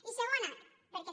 i segona perquè